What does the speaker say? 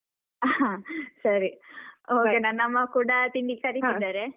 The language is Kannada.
ಹಾ, ಸರಿ okay ನನ್ನ ಅಮ್ಮ ಕೂಡಾತಿಂಡಿಗೆ ಕರಿತಿದ್ದಾರೆ.